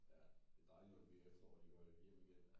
Ja det dejligt når det bliver efterår og de går hjem igen